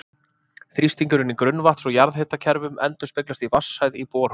Þrýstingurinn í grunnvatns- og jarðhitakerfum endurspeglast í vatnshæð í borholum.